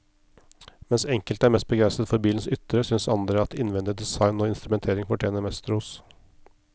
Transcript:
Mens enkelte er mest begeistret for bilens ytre, synes andre at innvendig design og instrumentering fortjener mest ros.